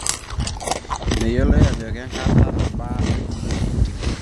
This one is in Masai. Meyioloi ajo kenkata nabaa eti entim.